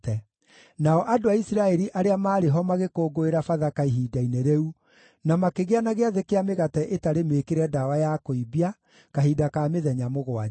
Nao andũ a Isiraeli arĩa maarĩ ho magĩkũngũĩra Bathaka ihinda-inĩ rĩu, na makĩgĩa na Gĩathĩ kĩa Mĩgate ĩtarĩ Mĩĩkĩre Ndawa ya Kũimbia kahinda ka mĩthenya mũgwanja.